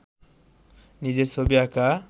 নিজের ছবি আঁকা